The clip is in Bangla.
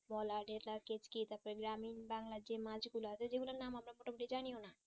তারপর গ্রামীণ বাঙ্গলার যে মাছ গুলো আছে সেগুলোর নাম আমরা মোটা মতি জানিও না